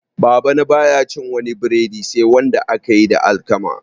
Babana baya cin wani breadi sai wanda aka yi da alkama